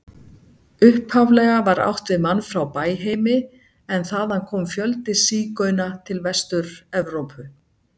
Upphaflega var átt við mann frá Bæheimi en þaðan kom fjöldi sígauna til Vestur-Evrópu.